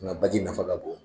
Nka baji nafa ka bɔ